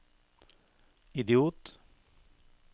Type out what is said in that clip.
idiot